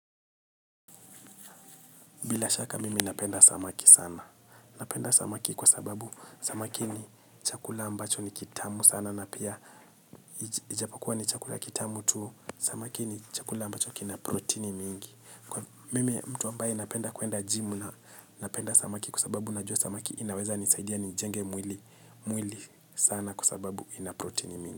Bila shaka mimi napenda samaki sana. Napenda samaki kwa sababu samaki ni chakula ambacho ni kitamu sana. Na pia ijapo kua ni chakula kitamu tu. Samaki ni chakula ambacho kina proteini mingi. Mimi mtu ambaye napenda kuenda gym napenda samaki kwa sababu najua samaki. Inaweza nisaidia nijenge mwili sana. Kwa sababu ina proteini mingi.